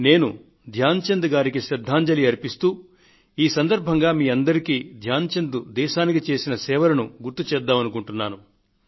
నేను ధ్యాన్ చంద్ గారికి శ్రద్ధాంజలి అర్పిస్తూ ఈ సందర్భంగా మీ అందరికీ ధ్యాన్ చంద్ దేశానికి చేసిన సేవలను గుర్తు చేద్దామనుకుంటున్నాను